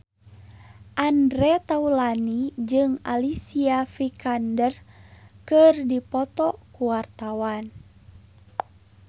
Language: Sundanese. Andre Taulany jeung Alicia Vikander keur dipoto ku wartawan